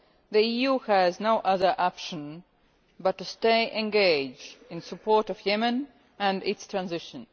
The EU has no other option but to stay engaged in support of Yemen and its transition.